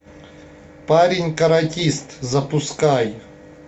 парень каратист запускай